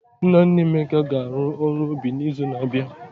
Nna nna Emeka ga-arụ ọrụ obi n'izu na-abịa.